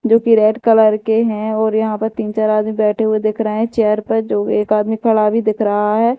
जो की red colour के हैं और यहां पर तीन चार आदमी बैठे हुए देख रहे हैं चेयर पर जो एक आदमी खड़ा भी दिख रहा है।